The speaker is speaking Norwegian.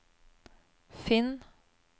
finn